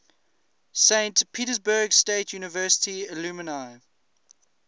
saint petersburg state university alumni